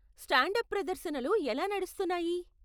Stand up ప్రదర్శనలు ఎలా నడుస్తున్నాయి?